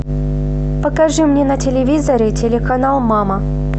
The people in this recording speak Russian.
покажи мне на телевизоре телеканал мама